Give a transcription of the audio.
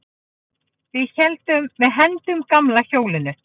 Við hendum gamla hjólinu.